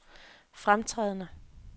fremtrædende